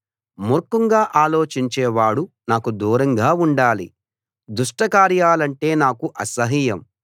మూర్ఖంగా ఆలోచించేవాడు నాకు దూరంగా ఉండాలి దుష్టకార్యాలంటే నాకు అసహ్యం